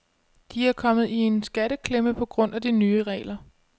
De er kommet i en skatteklemme på grund af de nye regler.